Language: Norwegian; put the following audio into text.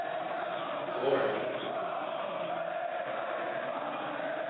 Kvål